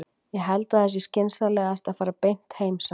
Ég held að það sé skynsamlegast að fara beint heim, sagði hann.